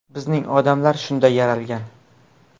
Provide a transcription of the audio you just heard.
Bizning odamlar shunday yaralgan.